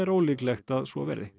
ólíklegt að svo verði